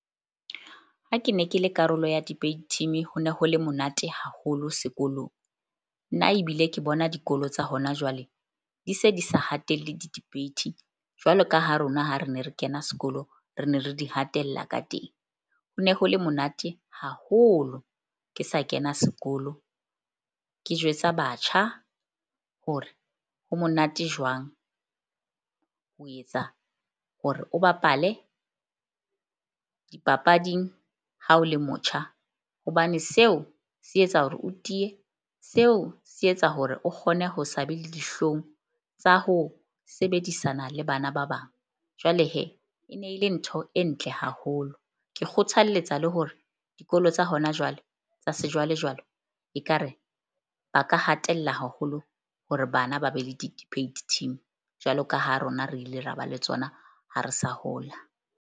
Ha ke ne ke le karolo ya debate team, ho ne ho le monate haholo sekolong. Nna ebile ke bona dikolo tsa hona jwale di se di sa hatelle di-debate jwalo ka ha rona ha re ne re kena sekolo, re ne re di hatella ka teng. Ho ne ho le monate haholo ke sa kena sekolo. Ke jwetsa batjha hore ho monate jwang ho etsa hore o bapale dipapading ha o le motjha hobane seo se etsa hore o tiye. Seo se etsa hore o kgone ho sa be le dihlong tsa ho sebedisana le bana ba bang. Jwale e ne e le ntho e ntle haholo. Ke kgothalletsa le hore dikolo tsa hona jwale tsa sejwalejwale ekare ba ka hatella haholo hore bana ba be le di-debate team. Jwalo ka ha rona re ile ra ba le tsona ha re sa hola.